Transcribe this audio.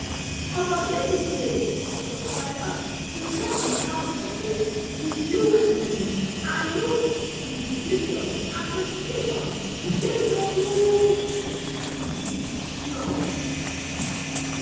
opportunities dey for subscribers to check di house fotos review um am look di descriptions and specifications to dey double um sure